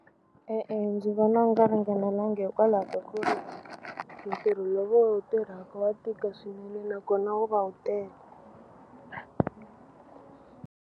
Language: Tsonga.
E-e, ndzi vona nga ringanelanga hikwalaho ka ku ri ntirho lowu va wu tirhaka wa tika swinene nakona wu va wu tele.